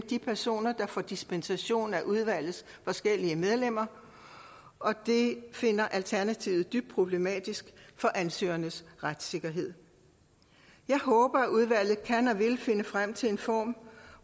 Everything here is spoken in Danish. de personer der får dispensation af udvalgets forskellige medlemmer og det finder alternativet dybt problematisk for ansøgernes retssikkerhed jeg håber at udvalget kan og vil finde frem til en form